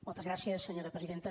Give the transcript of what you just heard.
moltes gràcies senyora presidenta